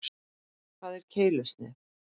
Hvað er keilusnið?